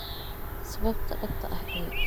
Sababta dhabta ah ee AAG si liidata looma fahmin.